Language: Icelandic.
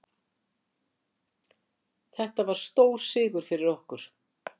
Þetta var stór sigur fyrir okkur.